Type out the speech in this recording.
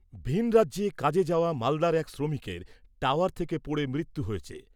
ভিন রাজ্যে কাজে যাওয়া মালদার এক শ্রমিকের, টাওয়ার থেকে পড়ে মৃত্যু হয়েছে।